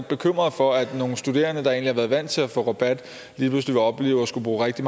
bekymret for at nogle studerende der egentlig har været vant til at få rabat lige pludselig vil opleve at skulle bruge rigtig